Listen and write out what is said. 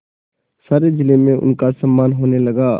सारे जिले में उनका सम्मान होने लगा